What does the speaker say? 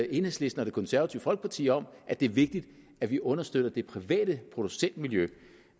enhedslisten og det konservative folkeparti om at det er vigtigt at vi understøtter det private producentmiljø